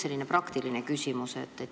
Mul on praktiline küsimus.